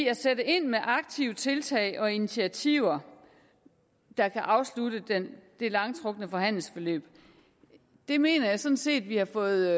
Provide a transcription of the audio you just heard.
at sætte ind med aktive tiltag og initiativer der kan afslutte det langtrukne forhandlingsforløb mener jeg sådan set at vi har fået